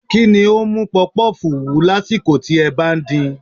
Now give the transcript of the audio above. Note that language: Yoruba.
Kí ni ó ń mú pọfupọ́ọ̀fù wú lásìkò tí ẹ bá ń din?